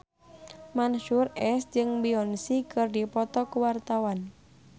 Mansyur S jeung Beyonce keur dipoto ku wartawan